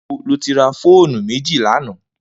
Nibó ló ti rà fónú méji lànã?